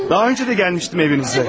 Daha öncə də gəlmişdim evinizə.